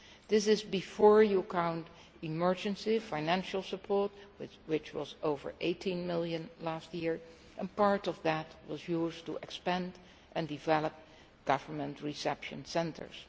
This is before you count emergency financial support, which was over 18 million last year and part of that was used to expand and develop government reception centres.